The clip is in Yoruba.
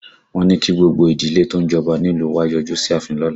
Wọ́n ní kí gbogbo ìdílé tó ń jọba nílùú wa ó yọjú sí ààfin lọ́la